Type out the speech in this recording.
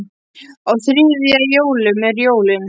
Á þriðja í jólum eru jólin.